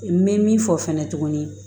N bɛ min fɔ fɛnɛ tuguni